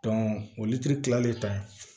o litiri tilalen ta ye